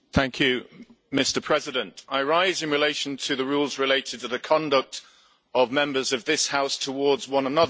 Mr President, I rise in relation to the rules related to the conduct of Members of this House towards one another.